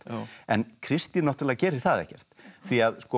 en Kristín náttúrlega gerir það ekkert því að